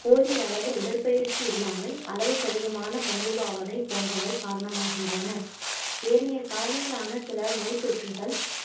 போதியளவு உடற் பயிற்சி இல்லாமை, அளவுக்கதிகமான மது பாவனை போன்றன காரணமாகின்றன. ஏனைய காரணிகளாக சில நோய்த்தொற்றுக்கள்,